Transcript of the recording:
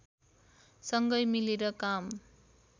सँगै मिलेर काम